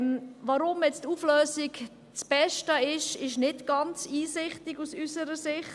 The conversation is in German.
Weshalb die Auflösung das Beste ist, ist unserer Ansicht nach nicht ganz einsichtig.